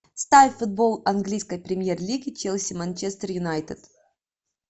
ставь футбол английской премьер лиги челси манчестер юнайтед